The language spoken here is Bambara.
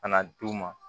Ka na d'u ma